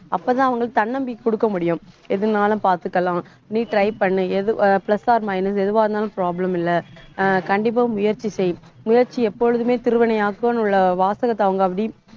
அப்பதான் அவங்களுக்கு தன்னம்பிக்கை குடுக்க முடியும். எதுனாலும் பார்த்துக்கலாம். நீ try பண்ணு எது plus or minus எதுவா இருந்தாலும் problem இல்லை. ஆஹ் கண்டிப்பா முயற்சி செய் முயற்சி எப்பொழுதுமே திருவினையாக்கும் உள்ள வாசகத்தை அவங்க அப்படி